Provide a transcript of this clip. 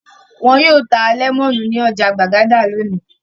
Wọn yóò ta lẹ́mọ́nù ní ọjà Gbàgádà lónìí.